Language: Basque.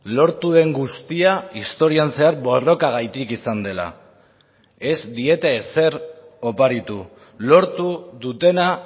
lortu den guztia historian zehar borrokagatik izan dela ez diete ezer oparitu lortu dutena